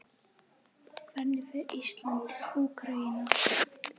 Hvernig fer Ísland- Úkraína?